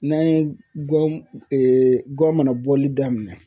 N'an ye guwan guwan mana bɔli daminɛ